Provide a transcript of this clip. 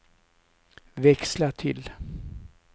växla till